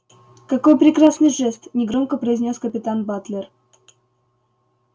какой прекрасный жест негромко произнёс капитан батлер